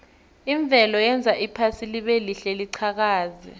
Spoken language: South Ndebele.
imvelo yenza iphasi libelihle liqhakaze